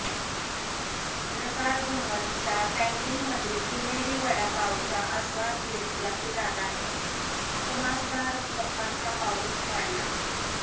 पत्रकार भवनच्या कँटीनमधील पुणेरी वडापावचा आस्वाद घेत जॅकीदादाने खुमासदार गप्पांचा पाऊस पाडला